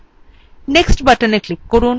nextবাটনে click করুন